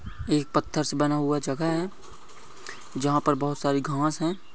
ये एक पथ्थर से बना हुआ जगह है जहाँ पर बहुत सारी घास है।